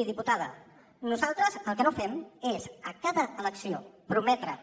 miri diputada nosaltres el que no fem és a cada elecció prometre